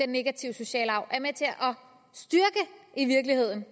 negative sociale arv og i virkeligheden